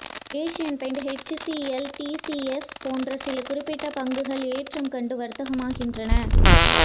Asian Paints HCL TCS போன்ற சில குறிப்பிட்ட பங்குகள் ஏற்றம் கண்டு வர்த்தகமாகின்றன